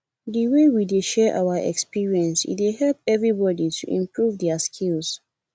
di way we dey share our experience e dey help everybodi to improve their skills